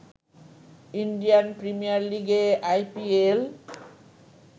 Indian premier লিগে IPL